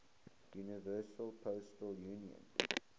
universal postal union